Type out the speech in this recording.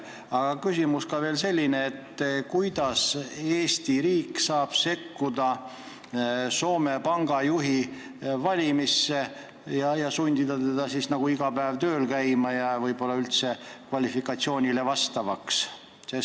Aga küsimus on veel selline: kuidas saab Eesti riik sekkuda Rootsi panga juhi valimisse, sundida teda iga päev tööl käima ja üldse vaadata tema kvalifikatsioonile vastavust?